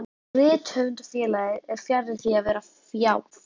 Rithöfundafélagið var fjarri því að vera fjáð.